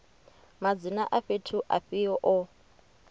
madzina a fhethu afhio o